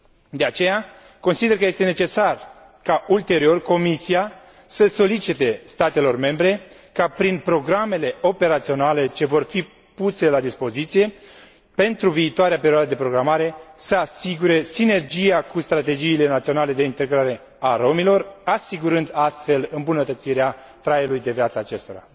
De aceea, consider că este necesar ca, ulterior, Comisia să solicite statelor membre ca, prin programele operaționale care le vor fi puse la dispoziție pentru viitoarea perioadă de programare, să asigure sinergia cu strategiile naționale de integrare a romilor, asigurând astfel îmbunătățirea traiului acestora.